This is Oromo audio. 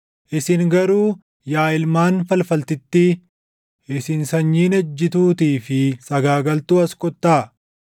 “Isin garuu yaa ilmaan falfaltittii, isin sanyiin ejjituutii fi sagaagaltuu as kottaa!